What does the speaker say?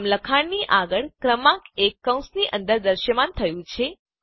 આમ લખાણની આગળ ક્રમાંક એક કૌંસની અંદર દ્રશ્યમાન થયું છે